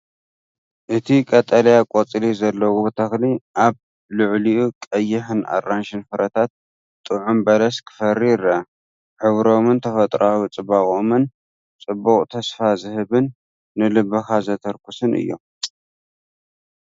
እቲ ቀጠልያ ቆጽሊ ዘለዎ ተኽሊ ኣብ ልዕሊኡ ቀይሕን ኣራንሺን ፍረታት ጥዑም በለስ ክፈሪ ይረአ። ሕብሮምን ተፈጥሮኣዊ ጽባቐኦምን ጽቡቕን ተስፋ ዝህብን ንልብኻ ዘተርኩሱን እዮም።